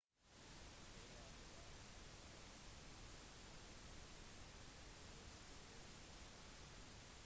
jeg er glad at det finnes mennesker som ønsker å støtte meg